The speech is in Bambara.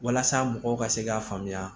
Walasa mɔgɔw ka se k'a faamuya